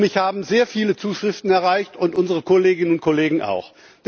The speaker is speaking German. Mich haben sehr viele Zuschriften erreicht und unsere Kolleginnen und Kollegen auch.